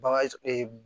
Bagan